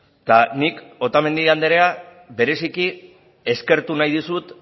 eta nik otamendi anderea bereziki eskertu nahi dizut